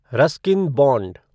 Ruskin bond